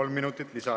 Kolm minutit lisaaega.